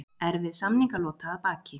Erfið samningalota að baki